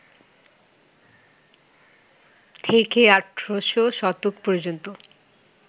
থেকে ১৮শ শতক পর্যন্ত